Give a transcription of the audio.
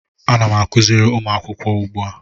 Ana m akụziri ụmụ akwụkwọ ugbua